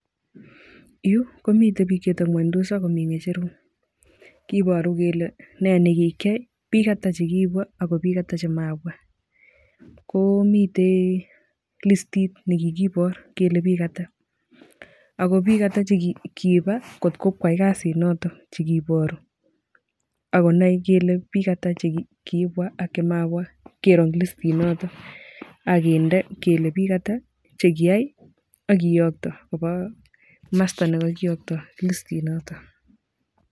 Yu komitei biik chetebindos ingweny ako mi kicherok , kiparu kele nee ne kikiyai, biik atak che kibwa ako biik ata chemabwaa, komitei listit nekikipor kele biik ata ako biik ata che kipa kotkop koyai kasinoto chikiparu ako nai kole biik ata chekibwa ak chemabwa keero eng listit noto akinde kele biik ata chekiyai ak kiyokto koba masta nekakiyokto listinoto.